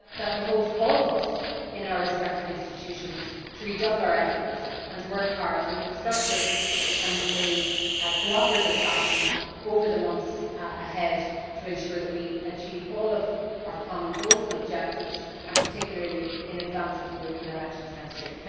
It behoves all of us in our respective institutions to redouble our efforts and to work hard in a constructive and a cooperative fashion over the months ahead to ensure that we achieve all of our common goals and objectives, particularly in advance of the European elections next year.